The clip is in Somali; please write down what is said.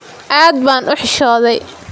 Aad baan u xishooday.